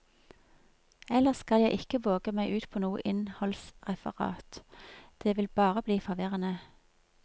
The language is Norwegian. Ellers skal jeg ikke våge meg ut på noe innholdsreferat, det vil bare bli forvirrende.